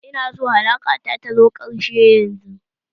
Ina son alaka ta zo ƙarshe yanzu!